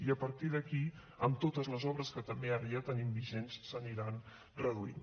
i a partir d’aquí amb totes les obres que també ara ja tenim vigents s’aniran reduint